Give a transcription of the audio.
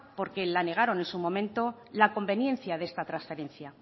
porque la negaron en su momento la conveniencia de esta transferencia